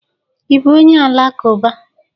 Ị bụ onye Alakụba?